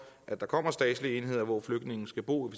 at der kommer statslige enheder hvor flygtningene skal bo og